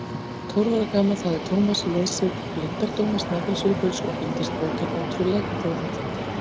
Tólf ára gamall hafði Thomas lesið Leyndardóma Snæfellsjökuls og fundist bókin ótrúleg en þó heillandi.